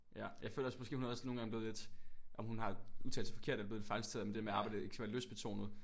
Ja jeg føler også måske hun er også nogen gange blevet lidt at hun har udtalt sig forkert er blevet fejlciteret med det der med at arbejde ikke skal være lystbetonet